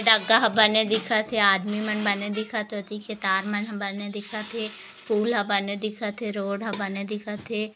डग्गा हा बने दिखत हे आदमी मन बने दिखत हे ओती के तार मन बने दिखत हे फूल हा बने दिखत हे रोड हा बने दिखत हे।